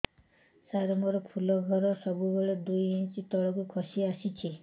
ସାର ମୋର ଫୁଲ ଘର ସବୁ ବେଳେ ଦୁଇ ଇଞ୍ଚ ତଳକୁ ଖସି ଆସିଛି